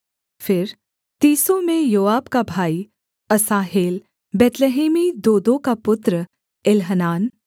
फिर तीसों में योआब का भाई असाहेल बैतलहमी दोदो का पुत्र एल्हनान